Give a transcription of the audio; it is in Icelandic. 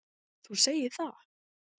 Þú segir það!